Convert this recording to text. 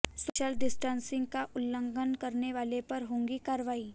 social distancing का उल्लंघन करने वाले पर होगी कार्रवाई